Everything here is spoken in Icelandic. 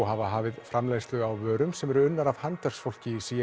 hafa hafið framleiðslu á vörum sem er unnið af handverksfólki í